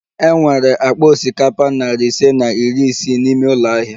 E nwere akpa osikapa nari ise na iri isii n'ime ụlọ ahịa